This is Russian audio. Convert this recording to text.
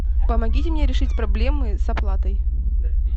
помогите мне решить проблемы с оплатой